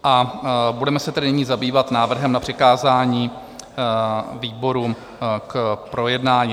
A budeme se tedy nyní zabývat návrhem na přikázání výborům k projednání.